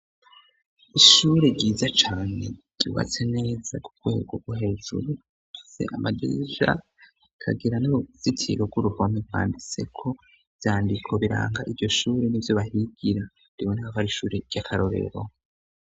Ishure ryiza cane ryubatse neza kurwego ro hejuru use amajeja kagira n'ubuzitiro rw'urugome nkwanditseko vyandiko biranga ivyo shuri ni vyo bahigira ribo naako ari ishure ry'akarorero.